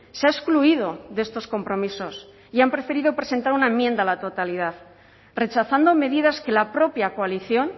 se ha excluido de estos compromisos y han preferido presentar una enmienda a la totalidad rechazando medidas que la propia coalición